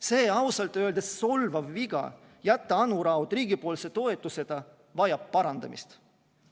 See ausalt öeldes solvav viga, jätta Anu Raud riigi toetuseta, vajab parandamist.